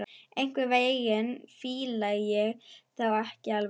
Einhvern veginn fíla ég þá ekki alveg.